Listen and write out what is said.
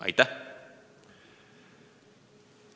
Aitäh!